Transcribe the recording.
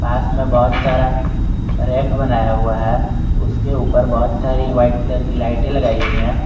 पास मे बहोत सारा रेख बनाया हुआ है उसके ऊपर बहुत सारी व्हाइट कलर की लाइटें लगाइ गई हैं।